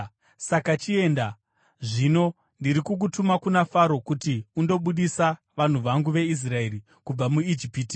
Saka chienda, zvino, ndiri kukutuma kuna Faro kuti undobudisa vanhu vangu vaIsraeri kubva muIjipiti.”